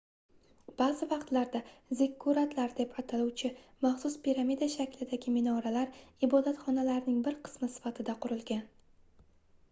baʼzi vaqtlarda zikkuratlar deb ataluvchi maxsus piramida shaklidagi minoralar ibodatxonalarning bir qismi sifatida qurilgan